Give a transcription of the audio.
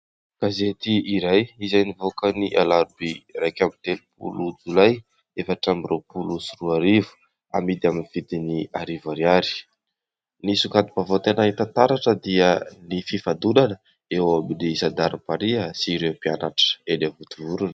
Gazety iray izay nivoaka ny alarobia iraika amin'ny telopolo jolay efatra amin'ny roapolo sy roa arivo , amidy amin'ny vidiny arivo ariary. Ny songadim-baovao tena hita taratra dia ny fifandonana eo amin'ny zandarimaria sy ireo mpianatra eny Vontovorona.